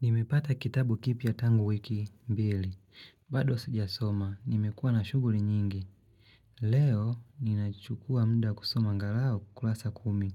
Nimepata kitabu kipya tangu wiki, mbili. Bado sija soma, nimekuwa na shughuli nyingi. Leo, ninachukua muda kusoma angalau kurasa kumi.